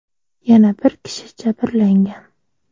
Yana bir kishi jabrlangan.